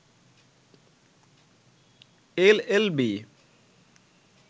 L L B